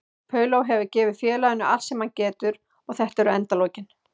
Paulo hefur gefið félaginu allt sem hann getur og þetta eru endalokin.